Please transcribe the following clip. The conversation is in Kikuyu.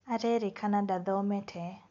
Arerĩkana ndathomete